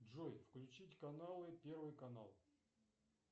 джой включить каналы первый канал